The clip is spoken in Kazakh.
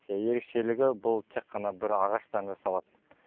ия ерекшелігі бұл тек қана бір ағаштан жасалады